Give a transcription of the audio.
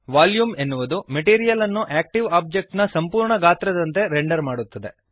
volume ಎನ್ನುವುದು material ಅನ್ನು active object ನ ಸಂಪೂರ್ಣ ಗಾತ್ರದಂತೆ ರೆಂಡರ್ ಮಾಡುತ್ತದೆ